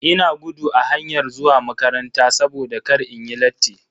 Ina gudu a hayar zuwa makaranta saboda kar inyi latti.